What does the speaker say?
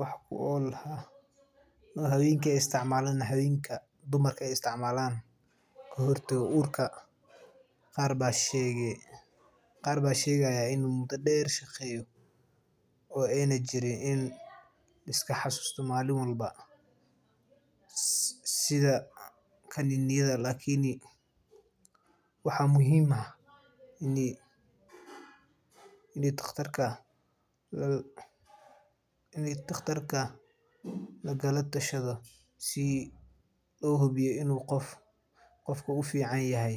wax ku ool ah oo habeenka aay isticmaalan kahor taga uurka qaar baa shegayaa in waqti deer uu shaqeeyo sida kaninada lakin waxa muhiim ah in daqtarka lagala tashado si uu hubiyo in qofka uu ufican yahay.